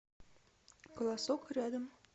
колосок рядом